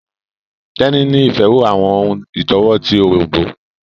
Teni ní ìfẹ àwọn ohùn itọwo ti Òrombó